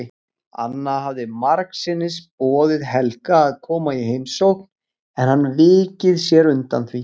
Anna hafði margsinnis boðið Helga að koma í heimsókn en hann vikið sér undan því.